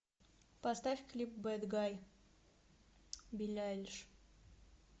поставь клип бэд гай билли айлиш